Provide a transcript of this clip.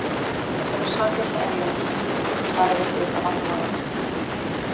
Í þessari saklausu og eðlilegri spurningu felst svarið við hluta af vandamálinu.